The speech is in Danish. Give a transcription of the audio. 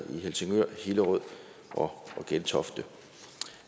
i helsingør hillerød og gentofte